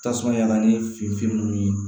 Tasuma yaala ni finfin ninnu ye